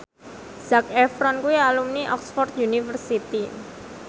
Zac Efron kuwi alumni Oxford university